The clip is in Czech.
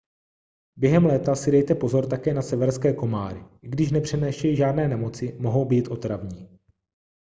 během léta si dejte pozor také na severské komáry i když nepřenášejí žádné nemoci mohou být otravní